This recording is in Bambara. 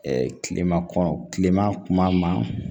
kilema kɔnɔ kilema kuma ma